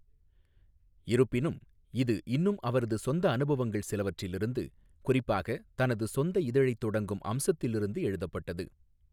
இருப்பினும், இது இன்னும் அவரது சொந்த அனுபவங்கள் சிலவற்றிலிருந்து, குறிப்பாக தனது சொந்த இதழைத் தொடங்கும் அம்சத்திலிருந்து எழுதப்பட்டது.